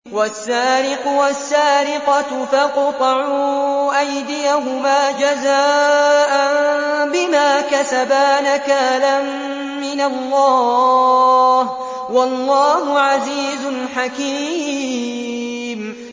وَالسَّارِقُ وَالسَّارِقَةُ فَاقْطَعُوا أَيْدِيَهُمَا جَزَاءً بِمَا كَسَبَا نَكَالًا مِّنَ اللَّهِ ۗ وَاللَّهُ عَزِيزٌ حَكِيمٌ